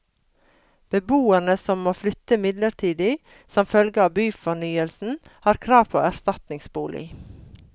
Beboere som må flytte midlertidig som følge av byfornyelsen har krav på erstatningsbolig.